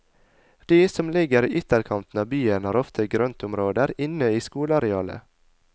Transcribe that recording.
De som ligger i ytterkanten av byen, har ofte grøntområder inne i skolearealet.